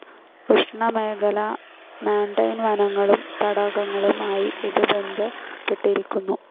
ഉഷ്ണമേഖലാ മാൻടെൻ വനങ്ങളും തടാകങ്ങളും ആയി ഇത് ബന്ധപ്പെട്ടിരിക്കുന്നു.